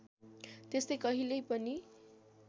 त्यस्तै कहिल्यै पनि